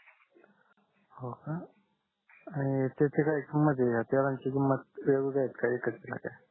हो का आणि त्याची काय किंमत आहे तेलांची किंमत वेगवेगळी आहेत का एकच आहे